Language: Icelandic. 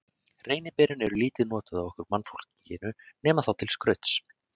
Reyniberin eru lítið nýtt af okkur mannfólkinu, nema þá til skrauts.